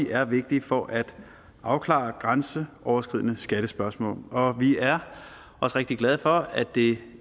er vigtige for at afklare grænseoverskridende skattespørgsmål vi er også rigtig glade for at det